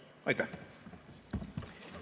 Aitäh!